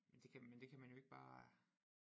Det kan men det kan man jo ikke bare